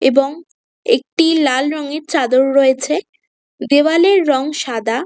এবং একটি লাল রঙের চাদর রয়েছে দেওয়ালের রং সাদা।